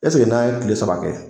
n'an ye kile saba kɛ